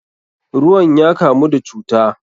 Ruwan ya kamu da cuta.